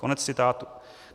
Konec citátu.